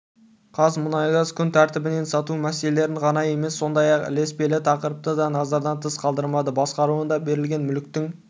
қазмұнайгазкүн тәртібінен сату мәселелерін ғана емес сондай-ақ ілеспелі тақырыпты да назардан тыс қалдырмайды басқаруына берілген мүліктің